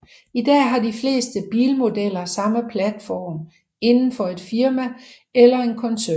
I dag har de fleste bilmodeller samme platform indenfor et firma eller en koncern